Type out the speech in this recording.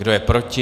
Kdo je proti?